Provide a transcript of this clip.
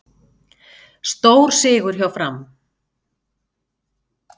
Stórsigur hjá Fram